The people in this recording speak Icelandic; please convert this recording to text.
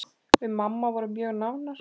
Við mamma vorum mjög nánar.